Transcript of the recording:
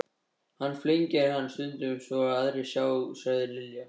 Hann flengir hann stundum svo aðrir sjá, sagði Lilla.